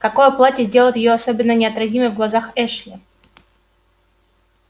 какое платье сделает её особенно неотразимой в глазах эшли